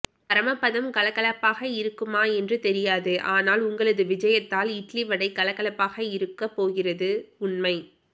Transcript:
பரமபதம் கலகலப்பாக இருக்குமா என்று தெரியாது ஆனால் உங்களது விஜயத்தால் இட்லிவடை கலகலப்பாக இருக்க போகிறது உண்மை